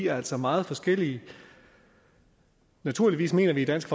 er altså meget forskellige naturligvis mener vi i dansk